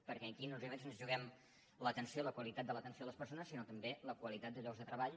perquè aquí no només ens juguem l’atenció la qualitat de l’atenció a les persones sinó també la qualitat de llocs de treball